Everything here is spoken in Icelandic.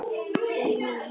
Og mín.